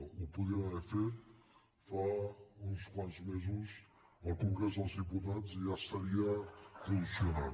ho podien haver fet fa uns quants mesos al congrés dels diputats i ja estaria funcionant